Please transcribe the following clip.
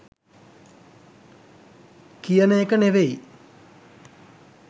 කියන එක නෙවෙයි.